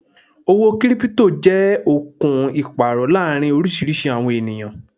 Owó 'Kírípútò' jẹ́ okùn Ìpàrò láàrin oriísirísi àwọn ènìyàn